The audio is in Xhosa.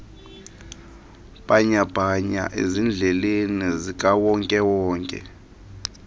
bhanyabhanya ezindleleni zikawonkewonke